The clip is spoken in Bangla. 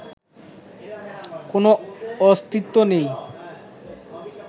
কোনো অস্তিত্ব নেই